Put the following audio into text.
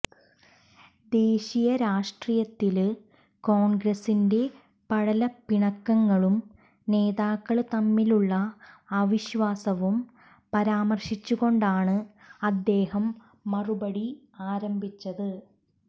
ദേശീയ രാഷ്ട്രീയത്തില് കോണ്ഗ്രസിന്റെ പടലപ്പിണക്കങ്ങളും നേതാക്കള് തമ്മിലുള്ള അവിശ്വാസവും പരാമര്ശിച്ചുകൊണ്ടാണ് അദ്ദേഹം മറുപടി ആരംഭിച്ചത്